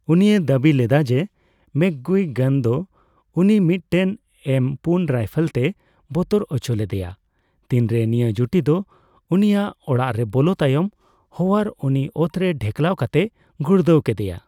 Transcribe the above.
ᱩᱱᱤᱭ ᱫᱟᱹᱵᱤ ᱞᱮᱫᱟᱭ ᱡᱮ ᱢᱮᱠᱜᱩᱭᱜᱟᱱ ᱫᱚ ᱩᱱᱤ ᱢᱤᱫᱴᱮᱱ ᱮᱢ ᱯᱩᱱ ᱨᱟᱭᱯᱷᱮᱞ ᱛᱮᱭ ᱵᱚᱛᱚᱨ ᱩᱪᱚ ᱞᱮᱫᱮᱭᱟ ᱛᱤᱱᱨᱮ ᱱᱤᱭᱟᱹ ᱡᱩᱴᱤ ᱫᱚ ᱩᱱᱤ ᱟᱜ ᱚᱲᱟᱜ ᱨᱮ ᱵᱚᱞᱚ ᱛᱟᱭᱚᱢ ᱦᱳᱣᱟᱨ ᱩᱱᱤ ᱚᱛᱨᱮ ᱰᱷᱮᱠᱞᱟᱣ ᱠᱟᱛᱮᱭ ᱜᱩᱲᱫᱟᱹᱣ ᱠᱮᱫᱮᱭᱟ ᱾